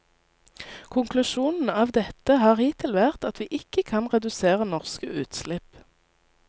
Konklusjonen av dette har hittil vært at vi ikke kan redusere norske utslipp.